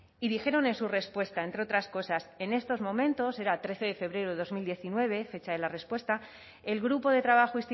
y dijeron en su respuesta entre otras cosas en estos momentos era trece febrero de dos mil diecinueve fecha de la respuesta el grupo de trabajo